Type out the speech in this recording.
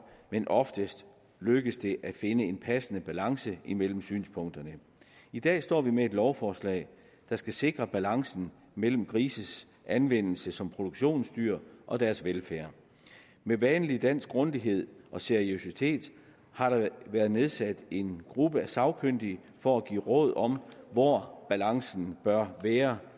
men oftest lykkedes det at finde en passende balance imellem synspunkterne i dag står vi med et lovforslag der skal sikre balancen mellem grises anvendelse som produktionsdyr og deres velfærd med vanlig dansk grundighed og seriøsitet har der været nedsat en gruppe af sagkyndige for at give råd om hvor balancen bør være